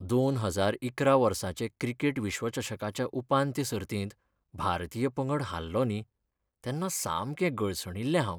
दोन हजार इकरा वर्साचें क्रिकेट विश्वचषकाच्या उपांत्य सर्तींत भारतीय पंगड हारलो न्ही, तेन्ना सामकें गळसणिल्लें हांव.